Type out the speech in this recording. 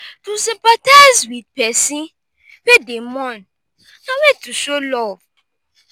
to sympathize with persin wey de mourn na way to show love